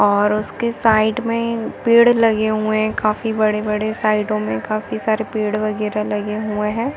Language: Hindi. और उसके साइड मे पेड़ लगे हुए है काफी बड़े - बड़े साइडो